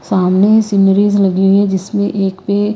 सामने सीनरीज लगी है जिसमें एक पे--